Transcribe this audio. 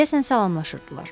Deyəsən salamlaşırdılar.